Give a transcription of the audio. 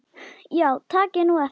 Já takið nú eftir.